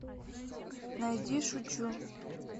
найди шучу